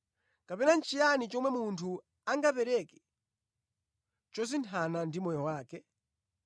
Kapena nʼchiyani chomwe munthu angapereke chosinthana ndi moyo wake?